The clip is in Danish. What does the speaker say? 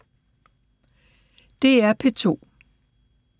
DR P2